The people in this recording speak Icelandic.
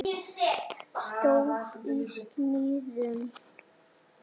Stór í sniðum.